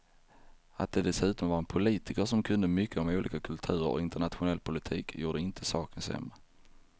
Att det dessutom var en politiker som kunde mycket om olika kulturer och internationell politik gjorde inte saken sämre.